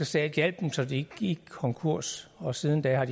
stat hjalp dem så de ikke gik konkurs og siden da